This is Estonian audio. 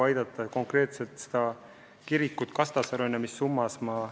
Ma ei tea, kas konkreetselt see kirik eelarves kirjas on.